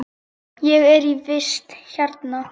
Ég er í vist hérna.